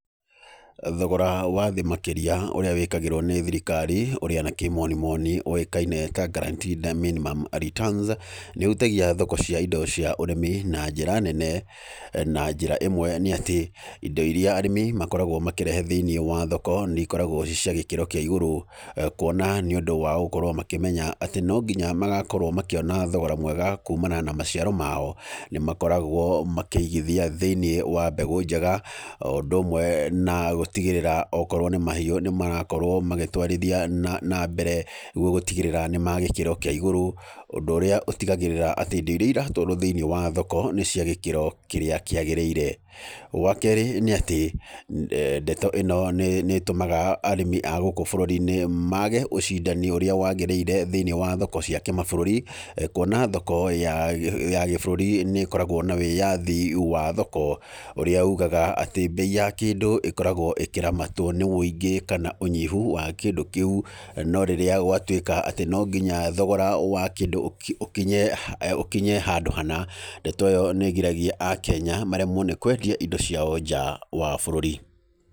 Thogora wa thĩ makĩria ũrĩa wĩkagĩragwo nĩ thirikari, ũrĩa na kĩmonimoni ũĩkaine ta guaranteed minimum returns. Nĩ ũhutagia thoko cia indo cia ũrĩmi na njĩra nene. Na njĩra ĩmwe nĩ atĩ, indo irĩa arĩmi makoragwo makĩrehe thĩiniĩ wa thoko nĩ ikoragwo ciĩ cia gĩkĩro kia igũrũ, kũona nĩ ũndũ wa gũkorwo makĩmenya atĩ no nginya magakorwo makĩona thogora mwega kuumana na maciaro mao. Nĩ makoragwo makĩigĩthia thĩinĩ wa mbegũ njega, o ũndũ ũmwe na gũtigĩrĩra okorwo nĩ mahiũ nĩ marakorwo magĩtwarithia na mbere, nĩgũo gũtigĩrĩra nĩ magĩkĩro kia igũrũ. Ũndũ ũrĩa ũtigagĩrĩra atĩ indo iria ĩratwarwo thĩiniĩ wa thoko nĩ cia gĩkĩro kĩrĩa kĩagĩrĩire. Wakeerĩ nĩ atĩ, ndeto ĩno nĩ ĩtũmaga arĩmi a gũkũ bũrũri-inĩ mage ũcindani ũrĩa wagĩrĩire thĩiniĩ wa thoko cia kĩmabũrũri, kũona thoko ya gĩbũrũri nĩ ĩkoragwo na wĩyathi wa thoko, ũrĩa ugaga atĩ bei ya kĩndũ ĩkoragwo ĩkĩramatwo nĩ wũingĩ, kana ũnyihu wa kĩndũ kĩu. No rĩrĩa gwatuĩka atĩ no nginya thogora wa kĩndũ ũkinye handũ hana, ndeto ĩyo nĩ ĩgiragia akenya maremwo nĩ kwendia indo ciao nja wa bũrũri.